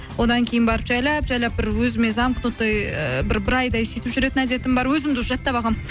одан кейін барып жайлап жайлап бір өзіме замкнутый і бір айдай сөйтіп жүретін әдетім бар өзімді уже жаттап алғанмын